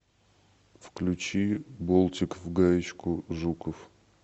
включи болтик в гаечку жуков